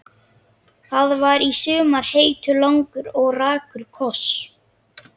Það var í sumar heitur, langur og rakur koss.